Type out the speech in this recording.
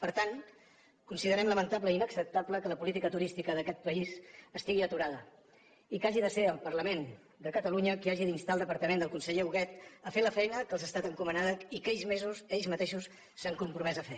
per tant considerem lamentable i inacceptable que la política turística d’aquest país estigui aturada i que hagi de ser el parlament de catalunya qui hagi d’instar el departament del conseller huguet a fer la feina que els ha estat encomanada i que ells mateixos s’han compromès a fer